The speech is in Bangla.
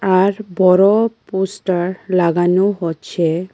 আর বড় পোস্টার লাগানো হচ্ছে।